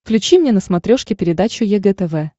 включи мне на смотрешке передачу егэ тв